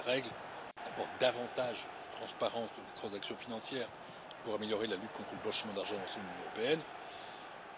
Ces nouvelles règles apportent davantage de transparence sur les transactions financières pour améliorer la lutte contre le blanchiment d'argent dans l'ensemble de l'Union européenne.